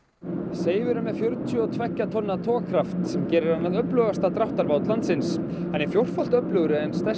Seifur er með fjörutíu og tveggja tonna togkraft sem gerir hann að öflugasta dráttarbát landsins hann er fjórfalt öflugri en stærsti